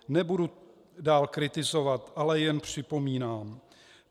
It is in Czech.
Nebudu dál kritizovat, ale jen připomínám.